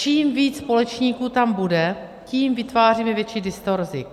Čím víc společníků tam bude, tím vytváříme větší distorzi.